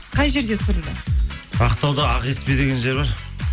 қай жерде түсірілді ақтауда ақкеспе деген жер бар